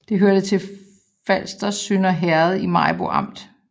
Det hørte til Falsters Sønder Herred i Maribo Amt